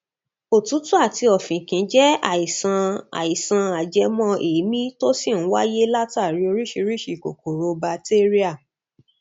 òtútù àti ọfìnkì jẹ àìsàn àìsàn ajẹmọ èémí tó sì ń wáyé látàrí oríṣiríṣi kòkòrò batéríà